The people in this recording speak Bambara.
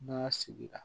N'a y'a sigira